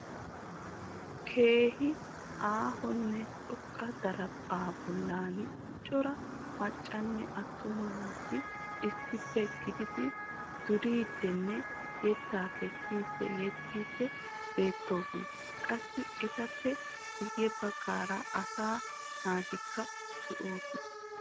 Keehin aahonne xoqqa daraphpha bollan cora maccanne attuma naati issippe gididi duriidinne yetta kessidi yexiidi beettoosona. Qassi etappe guye baggaara asaa naatikka de'oosona.